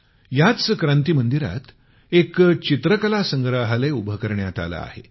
याच क्रांती मंदिरात एक चित्रकला संग्रहालय उभं करण्यात आलं आहे